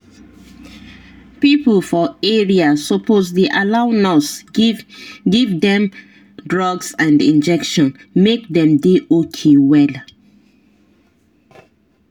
people for area suppose dey allow nurse give give dem drugs and injection make dem dey okay well.